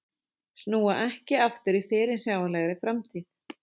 Snúa ekki aftur í fyrirsjáanlegri framtíð